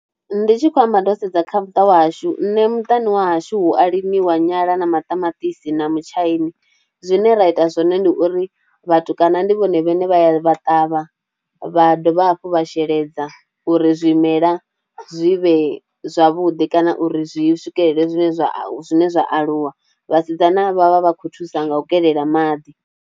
Ndi tshi khou amba ndo sedza kha muṱa washu nṋe muṱani wa hashu hu a limiwa nyala na maṱamaṱisi na mutshaini. Zwine ra ita zwone ndi uri vhatukana ndi vhone vhane vha ya vha ṱavha vha dovha hafhu vha sheledza uri zwimela zwi vhe zwavhuḓi kana uri zwi swikelele zwine zwa zwine zwa aluwa, vhasidzana vha vha vha khou thusa nga u kelela maḓi.